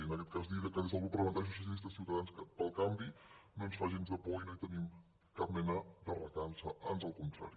i en aquest cas dir que des del grup parlamentari socialistes · ciutadans pel canvi no ens fa gens de por i no hi tenim cap mena de recança ans el contrari